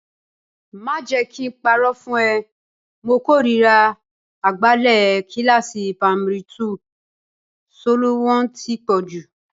Má jẹ kí n parọ́ fún ẹ, mo kórìíra agbálẹ̀ kíláàsì pamari túù, soló wọn ti pọ̀jù